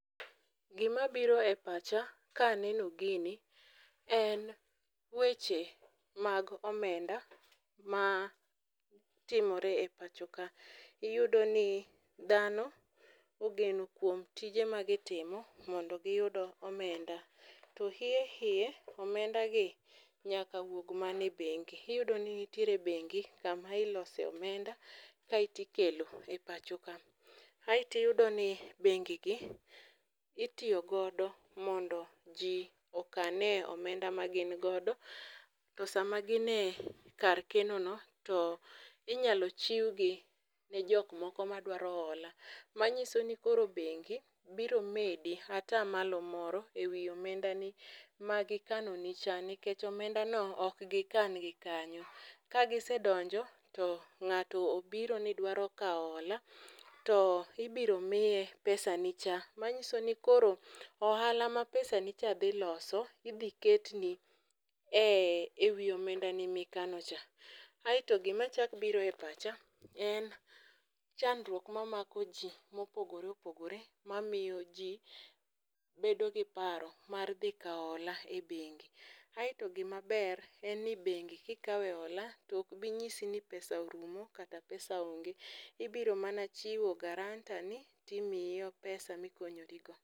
gima biro e pacha ka aneno gini en weche mag omenda matimore e pach ka ,iyudo ni dhano ogeno kuom tije mago timo mondo giyud omenda to hie hie omenda gi nyaka wuog mana e bengi ,iyudo ni nitire bengi kama ilose omenda kae tikelo e pacho ka ,ae tiyudo ni bengi gi itiyo godo mondo ji okane omenda ma gin godo to sama gine kar kenono to inyalo chiw gi jok moko madwaro olo, manyiso ni koro bengi biro medi ata malo moro ewi omenda ni magi kano ni cha nikech omenda go ok gi kan gi kanyo, ka gisedonjo to ng'ato obiro ni dwaro hola to ibiro miye pesa ni cha, manyiso ni koro ohala ma pesa ni cha dhi loso, idhi ketni ewi omendani mikano cha, ae to gima chak biro e pacha en chandruok mamako ji mopore opogore ma miyo ji bedo gi paro mar dhi kao hola e bengi ,ae to gima ber en ni bengi kikawe ola to ok bi ng'isi ni pesa orumo kata pesa ong'e ,ibiro mana chiwo guaranter ni timiyi pesa mikonyori go.gi.